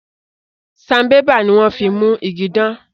Sanbébà ní wón fín mú ìgi dan